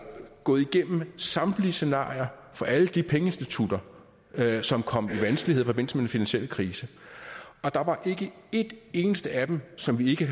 gået igennem samtlige scenarier for alle de pengeinstitutter som kom i vanskeligheder med den finansielle krise og der var ikke et eneste af dem som vi ikke